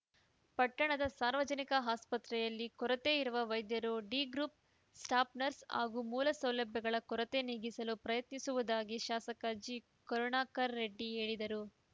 ಪಟ್ಟಣದ ಸಾರ್ವಜನಿಕ ಆಸ್ಪತ್ರೆಯಲ್ಲಿ ಕೊರತೆ ಇರುವ ವೈದ್ಯರು ಡಿಗ್ರೂಪ್‌ ಸ್ಟಾಪ್‌ನರ್ಸ್‌ ಹಾಗೂ ಮೂಲ ಸೌಲಭ್ಯಗಳ ಕೊರತೆ ನೀಗಿಸಲು ಪ್ರಯತ್ನಿಸುವುದಾಗಿ ಶಾಸಕ ಜಿಕರುಣಾಕರರೆಡ್ಡಿ ಹೇಳಿದರು